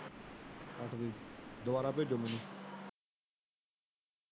ਕੱਟ ਦੇ। ਦੁਬਾਰਾ ਭੇਜੋ ਮੈਨੂੰ।